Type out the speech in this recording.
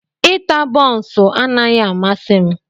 Ita bonsuu anaghị amasị m.